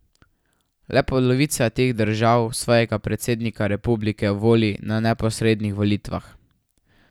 Le polovica teh držav svojega predsednika republike voli na neposrednih volitvah.